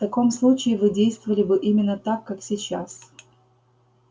в таком случае вы действовали бы именно так как сейчас